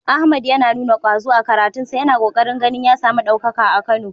Ahmad ya nuna ƙwazo a karatunsa, yana ƙoƙarin ganin ya samu ɗaukaka a Kano.